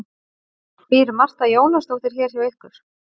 Býr Marta Jónasdóttir hér hjá ykkur?